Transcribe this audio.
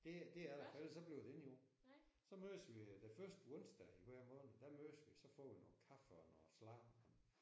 Det det er der for ellers så bliver det ikke gjort. Så mødes vi den første onsdag i hver måned der mødes vi så får noget kaffe noget sladder